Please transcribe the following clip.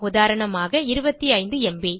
உதாரணமாக 25 ம்ப்